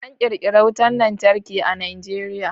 An ƙirƙira wutan lantarki a Najeriya.